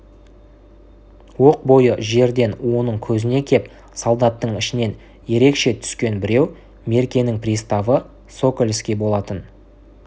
оқ бойы жерден оның көзіне кеп солдаттың ішінен ерекше түскен біреу меркенің приставы сокольский болатын